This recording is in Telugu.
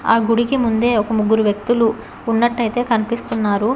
ఆ గుడికి ముందే ఒక ముగ్గురు వ్యక్తులు ఉన్నట్టయితే కనిపిస్తున్నారు.